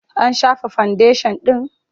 An shafa fandeshan ɗin?